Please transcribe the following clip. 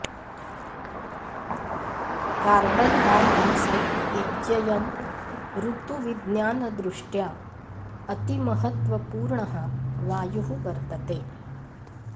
carbon dioxide इत्ययम् ऋतुविज्ञानदृष्ट्या अतिमहत्वपूर्णः वायुः वर्तते